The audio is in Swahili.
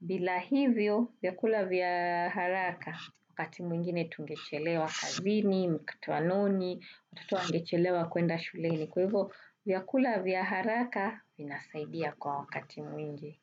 Bila hivyo vyakula vya haraka wakati mwingine tungechelewa kazini, mkutanoni, watoto wangechelewa kuenda shuleni. Kwa hivyo vyakula vya haraka vinasaidia kwa wakati mwingi.